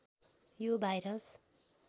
यो भाइरस